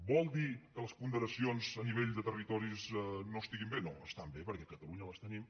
vol dir que les ponderacions a nivell de territoris no estan bé no estan bé perquè a catalunya les tenim